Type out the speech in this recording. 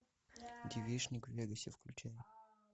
девичник в вегасе включай